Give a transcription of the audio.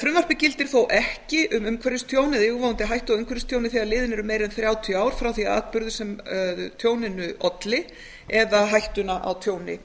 frumvarpið gildir þó ekki um umhverfistjón eða yfirvofandi hættu á umhverfistjóni þegar liðin eru meira en þrjátíu ár frá því að atburður sem tjóninu olli eða orsakaði hættuna á tjóni